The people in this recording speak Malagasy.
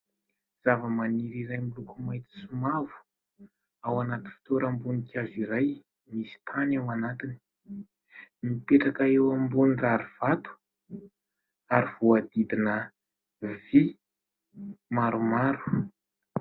Zava-maniry izay miloko maitso sy mavo ao anaty fitoeram-boninkazo iray misy tany ao anatiny, mipetraka eo ambony rarivato ary voahodidina vy maromaro.